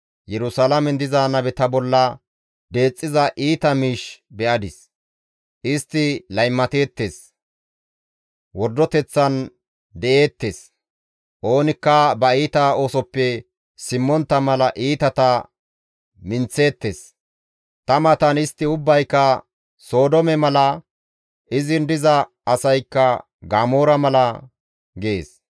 Yerusalaamen diza nabeta bolla deexxiza iita miish be7adis; istti laymateettes; wordoteththan de7eettes; oonikka ba iita oosoppe simmontta mala iitata minththeettes; ta matan istti ubbayka Sodoome mala, izin diza asaykka Gamoora mala» gees.